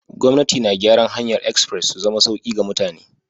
Gwamnati na gyaran hanyar express su zama sauki ga mutane.